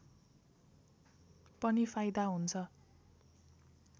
पनि फाइदा हुन्छ